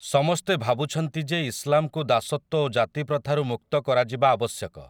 ସମସ୍ତେ ଭାବୁଛନ୍ତି ଯେ ଇସଲାମକୁ ଦାସତ୍ୱ ଓ ଜାତିପ୍ରଥାରୁ ମୁକ୍ତ କରାଯିବା ଆବଶ୍ୟକ ।